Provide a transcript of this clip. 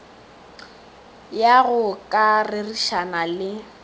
ya go ka rerišana le